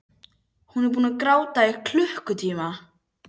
Hún er búin að gráta í klukkutíma.